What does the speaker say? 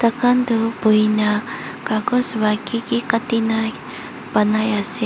taikan toh buhina kakos bara kiki katina ponai ase.